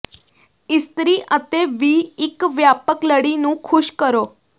ਇਸਤਰੀ ਅਤੇ ਵੀ ਇੱਕ ਵਿਆਪਕ ਲੜੀ ਨੂੰ ਖ਼ੁਸ਼ ਕਰੋ